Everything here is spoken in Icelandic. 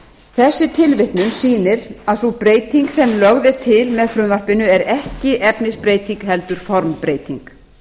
þessi tilvitnun sýnir að sú breyting sem lögð er til með frumvarpinu er ekki efnisbreyting heldur formbreyting